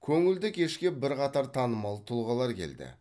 көңілді кешке бірқатар танымал тұлғалар келді